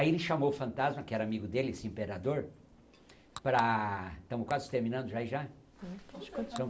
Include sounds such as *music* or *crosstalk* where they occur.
Aí ele chamou o fantasma, que era amigo dele, esse imperador, para... Estamos quase terminando *unintelligible* já?